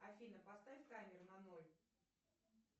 афина поставь таймер на ноль